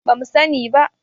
ba mu sani ba